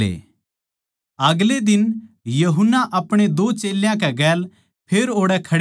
अगले दिन यूहन्ना अपणे दो चेल्यां कै गेल फेर ओड़ै खड़े थे